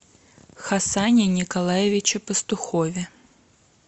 хасане николаевиче пастухове